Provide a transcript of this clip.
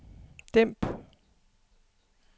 dæmp